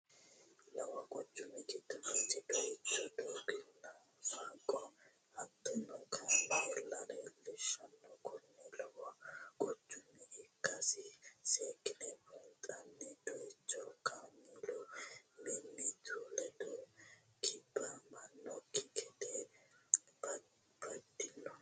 Lowo quchumi gido noota doyicho dooga'nna fooqa hattonno kaamee'lla leelishanno, kunino lowo quchuma ikkasi seekine buunxani, doyicho kaameelu mimitu ledo kibamanokki gede babadano